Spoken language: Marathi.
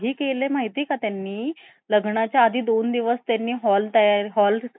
अं sponsored program पासून आणि thailand मी स्वतःच्या खर्चावर गेलो तर मी सुरु करतो मी china कसं गेलो केव्हा गेलो किती आणि तिथले माझे experience